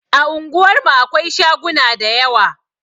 A unguwar mu akwai shaguna da yawa